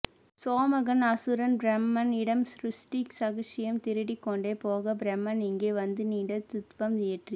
சோமகன் அசுரன் பிரமன் இடம் ஸ்ருஷ்டி ரகஸ்யம் திருடிக் கொண்டு போக பிரமன் இங்கே வந்து நீண்ட த்வம் இயற்றி